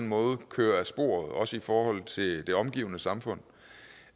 måde kører af sporet også i forhold til det omgivende samfund